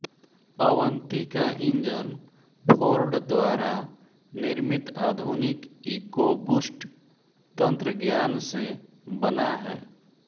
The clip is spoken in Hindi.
अवन्ती का इंजन फ़ोर्ड द्वारा निर्मित आधुनिक इकोबूस्ट तंत्रज्ञान से बना है